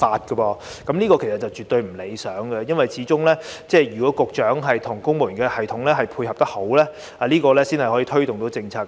"這情況絕對不理想，因為始終需要局長與公務員系統配合，才能推動政策。